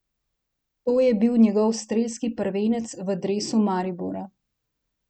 To je bil njegov strelski prvenec v dresu Maribora!